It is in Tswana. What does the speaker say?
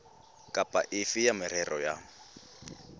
kapa efe ya merero ya